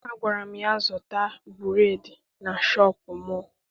Agwara m ya, zụta bureedi na shọpịn mọọ!